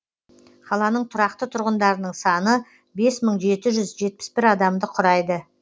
қаланың тұрақты тұрғындарының саны бес мың жеті жүз жетпіс бір адамды құрайды